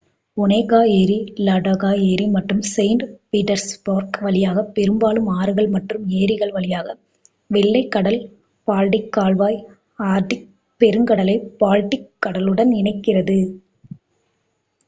ஒனேகா ஏரி லடோகா ஏரி மற்றும் செயிண்ட் பீட்டர்ஸ்பர்க் வழியாக பெரும்பாலும் ஆறுகள் மற்றும் ஏரிகள் வழியாக வெள்ளை கடல்-பால்டிக் கால்வாய் ஆர்க்டிக் பெருங்கடலை பால்டிக் கடலுடன் இணைக்கிறது